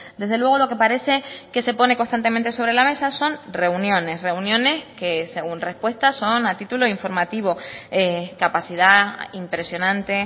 desde luego lo que parece que se pone constantemente sobre la mesa son reuniones reuniones que según respuesta son a título informativo capacidad impresionante